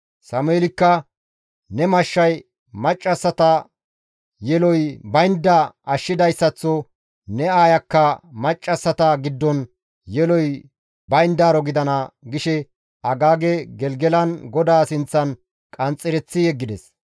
Sameelikka, «Ne mashshay maccassata yeloy baynda ashshidayssaththo ne aayakka maccassata giddon yeloy bayndaaro gidana» gishe Agaage Gelgelan GODAA sinththan qanxxereththi yeggides.